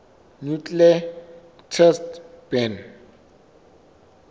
nuclear test ban